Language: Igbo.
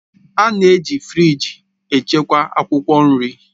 A na-eji firịj echekwa akwụkwọ nri